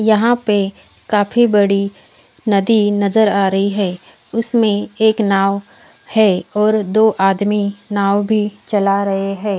यहाँ पे काफी बड़ी नदी नज़र आ रही है उसमे एक नाव है और दो आदमी नाव भी चला रहे है।